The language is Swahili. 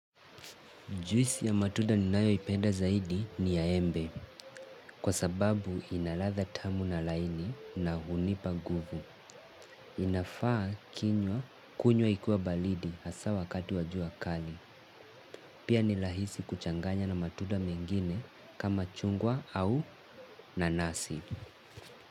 Juisi ya matuda ninayo ipenda zaidi ni ya embe kwa sababu inaladha tamu na laini na hunipa guvu. Inafaa kinywa kunywa ikiwa balidi hasa wakati wajua kali. Pia nilahisi kuchanganya na matuda mengine kama chungwa au nanasi.